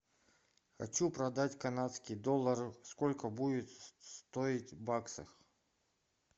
хочу продать канадские доллары сколько будет стоить в баксах